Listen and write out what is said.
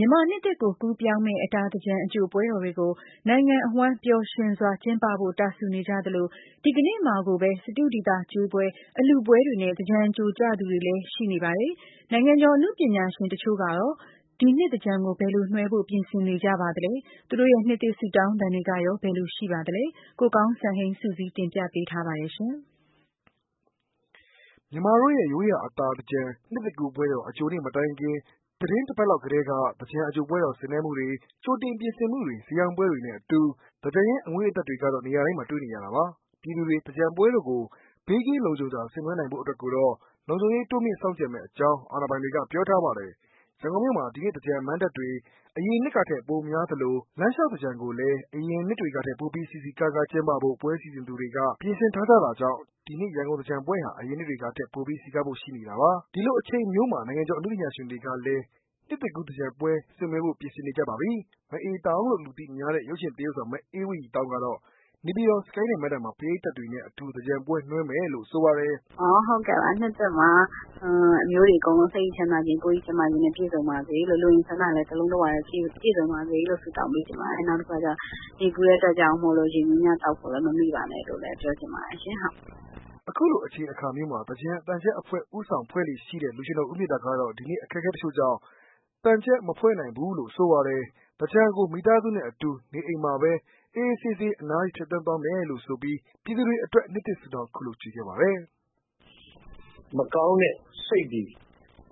ြန်မာနှစ်သစ်ကို ကူးပြောင်းမယ့် အတာသင်္ကြန် အကြိုပွဲတော်တွေကို နိုင်ငံအဝှမ်း ပျော်ရွှင်စွာ ကျင်းပဖို့ ရန်ကုန်မြို့အနှံ့ တာစူနေကြသလို ဒီနေ့မှာကိုပဲ စတုဒီသာကျွေးပွဲ၊ အလှူပွဲတွေနဲ့ သင်္ကြန်အကြိုကျသူတွေ လည်း ရှိနေပါပြီ။ နိုင်ငံကျော် အနုပညာရှင်အချို့ကရော ဒီနှစ်သင်္ကြန်ကို ဘယ်လိုနွှဲဖို့ ပြင်နေကြပါလဲ။ သူတို့ရဲ့နှစ်သစ်ဆုတောင်းသံတွေ ကရော ဘယ်လိုရှိပါလဲ။ ကိုကောင်းစံဟိန်းက စုစည်းတင်ပြထားပါတယ်။ မြန်မာတို့ရဲ့ရိုးရာ အတာအင်္ကြန် နှစ်သစ်ကူးပွဲတော် အကြိုနေ့မတိုင်ခင် သီတင်းတပတ်လောက်ကတည်းက သင်္ကြန်အကြိုပွဲတော် ဆင်နွှဲမှုတွေ၊ ကြိုတင် ပြင်ဆင်မှုတွေ၊ ဈေးရောင်းပွဲတွေနဲ့အတူ သင်္ကြန်ရဲ့ အငွေ့အသက်တွေကတော့ နေရာတိုင်းမှာ တွေ့နေရတာပါ။ ပြည်သူတွေ သင်္ကြန်ပွဲတော်ကို ဘေးကင်းလုံခြုံစွာ ဆင်နွှဲနိုင်ဖို့အတွက်ကိုတော့ လုံခြုံရေး တိုးမြှင့် စောင့်ကြပ်မယ့်အကြောင်း အာဏာပိုင်တွေက ပြောထားပါတယ်။ ရန်ကုန်မြို့မှာ ဒီနှစ် သင်္ကြန်မဏ္ဍပ်တွေ အရင်နှစ်ကထက် ပိုများသလို၊ လမ်းလျှောက်သင်္ကြန်ကိုလည်း အရင်နှစ်တွေထက် ပိုပြီး စည်စည်ကားကား ကျင်းပဖို့ ပွဲစီစဉ်သူတွေက ပြင်ဆင်ထားကြတာကြောင့် ဒီနှစ်ရန်ကုန် သင်္ကြန်ပွဲဟာ အရင်နှစ်တွေကထက် ပိုပြီး စည်ကားဖို့ရှိနေတာပါ။ ဒီလိုအချိန်မျိုးမှာ နိုင်ငံကျော် အနုပညာရှင်တွေလည်း နှစ်ကူးသင်္ကြန်ပွဲနွှဲဖို့ ပြင်နေကြပါပြီ။ မအေးသောင်းလို့လူသိများတဲ့ ရုပ်ရှင်သရုပ်ဆောင် အေးဝတ်ရည်သောင်းကတော့ - နေပြည်တော် Skynet မဏ္ဍပ်မှာ ပရိသတ်တွေနဲ့အတူ သင်္ကြန်ပွဲ နွှဲမယ်လို့ ဆိုပါတယ်။ "နှစ်သစ်မှာ အမျိုးတွေအကုန်လုံး စိတ်၏ချမ်းသားခြင်း၊ ကိုယ်၏ကျန်းမာခြင်းနဲ့ ပြည့်စုံပါစေလို့ လိုအင်ဆန္ဒတွေလည်း တလုံးတဝထဲ ပြည့်စုံပါစေလို့ ဆုတောင်းပေးချင်ပါတယ်။ နောက်တခုကကျတော့ နေပူတဲ့ အတွက်ကြောင့်မို့လို့ ရေများများသောက်ဖို့လည်း မမေ့ပါနဲ့လို့လည်း ပြောချင်ပါတယ်ရှင်။" အခုလိုအချိန်အခါမျိုးမှာ သင်္ကြန်သံချပ်အဖွဲ့ ဦးဆောင်ဖွဲ့လေ့ရှိတဲ့ လူရွှင်တော် ဦးမေတ္တာ ကတော့ ဒီနှစ် အခက်အခဲတချို့ကြောင့် သံချပ် မဖွဲ့နိုင်ဘူးလို့ ဆိုပါတယ်။ သင်္ကြန်ကို မိသားစုနဲ့အတူ နေအိမ်မှာပဲ အေးအေးဆေးဆေး အနားယူဖြတ်သန်းသွားမယ်လို့ ဆိုပြီး ပြည်သူတွေအတွက် နှစ်သစ်ဆုတောင်း ခုလိုခြွေခဲ့ပါတယ်။ "မကောင်းတဲ့ စိတ်တွေ၊